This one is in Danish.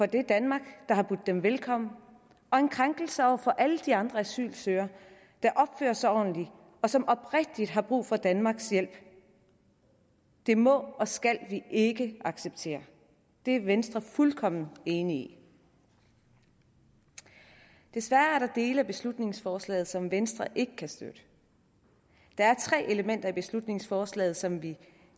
det danmark der har budt dem velkommen og en krænkelse over for alle de andre asylansøgere der opfører sig ordentligt og som oprigtigt har brug for danmarks hjælp det må og skal vi ikke acceptere det er venstre fuldkommen enig i desværre er der dele af beslutningsforslaget som venstre ikke kan støtte der er tre elementer i beslutningsforslaget som vi